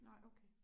Nej okay